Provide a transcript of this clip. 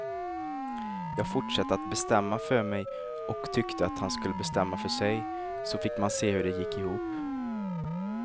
Jag fortsatte att bestämma för mig och tyckte att han skulle bestämma för sig, så fick man se hur det gick ihop.